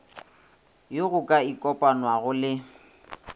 yo go ka ikopanwago le